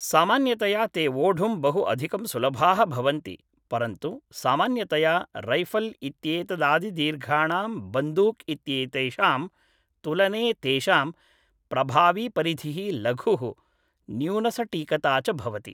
सामान्यतया ते वोढुं बहु अधिकं सुलभाः भवन्ति, परन्तु सामान्यतया रैफल् इत्येतदादिदीर्घाणां बन्दूक् इत्येतेषां तुलने तेषां प्रभावीपरिधिः लघुः, न्यूनसटीकता च भवति